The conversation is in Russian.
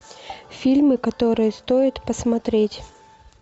фильмы которые стоит посмотреть